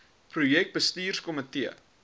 projek bestuurs komitee